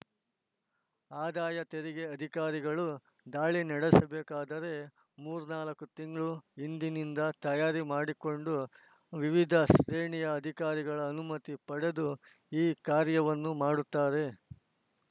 ಆದಾಯ ತೆರಿಗೆ ಅಧಿಕಾರಿಗಳು ದಾಳಿ ನಡೆಸಬೇಕಾದರೆ ಮೂರ್ನಾಲ್ಕು ತಿಂಗಳ ಹಿಂದಿನಿಂದ ತಯಾರಿ ಮಾಡಿಕೊಂಡು ವಿವಿಧ ಶ್ರೇಣಿಯ ಅಧಿಕಾರಿಗಳ ಅನುಮತಿ ಪಡೆದು ಈ ಕಾರ್ಯವನ್ನು ಮಾಡುತ್ತಾರೆ